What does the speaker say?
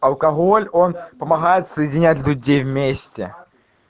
алкоголь он помогает соединять вместе